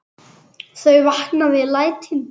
Þau vakna við lætin.